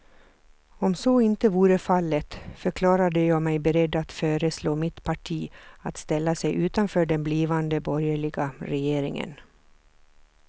Om så inte vore fallet förklarade jag mig beredd att föreslå mitt parti att ställa sig utanför den blivande borgerliga regeringen.